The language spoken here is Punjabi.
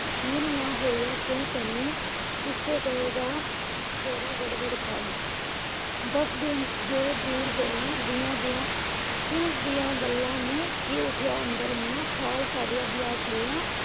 ਮਿਲ ਨਾ ਹੋਇਆ। ਕਿਉਂ ਤੈਨੂੰ ਇਸੇ ਗੱਲ ਦਾ ਝੋਰਾ ਘੜ ਘੜ ਖਾਏ। ਦੱਸ ਦਿਨ ਜੋ ਦੂਰ ਹੋਏ ਦੀਆ ਦੀਆ ਦਿਲ ਦੀਆ ਗੱਲਾਂ ਨੂੰ ਉੱਠੀਆਂ ਏਨਾ ਅੰਦਰ ਖਿਆਲ